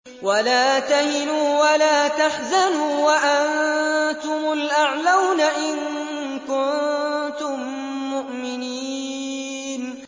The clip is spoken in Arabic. وَلَا تَهِنُوا وَلَا تَحْزَنُوا وَأَنتُمُ الْأَعْلَوْنَ إِن كُنتُم مُّؤْمِنِينَ